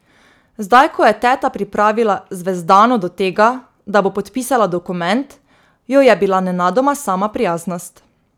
Zdaj ko je teta pripravila Zvezdano do tega, da bo podpisala dokument, jo je bila nenadoma sama prijaznost.